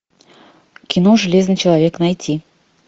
кино железный человек найти